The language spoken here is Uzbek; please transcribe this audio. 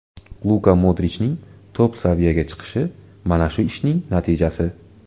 Luka Modrichning top-saviyaga chiqishi mana shu ishning natijasi.